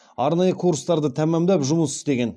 арнайы курстарды тәмамдап жұмыс істеген